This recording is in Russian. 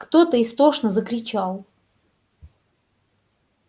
кто-то истошно закричал